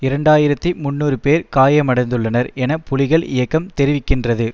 இரண்டு ஆயிரத்தி முன்னூறு பேர் காயமடைந்துள்ளனர் என புலிகள் இயக்கம் தெரிவிக்கின்றது